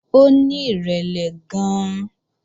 Ó ní ìrẹ̀lẹ̀ gan-an